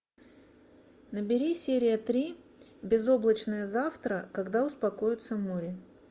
набери серия три безоблачное завтра когда успокоится море